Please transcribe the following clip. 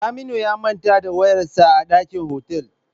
Saminu ya manta da wayarsa a dakin otal.